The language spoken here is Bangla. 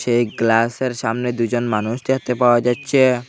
এই গ্লাসের সামনে দুজন মানুষ দেখতে পাওয়া যাচ্ছে।